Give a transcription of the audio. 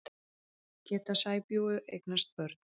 Geta sæbjúgu eignast börn?